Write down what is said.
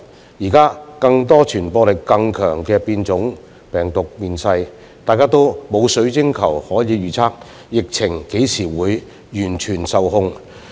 現時有更多傳播力更強的病毒變種面世，大家都沒有水晶球可預測疫情何時能完全受控。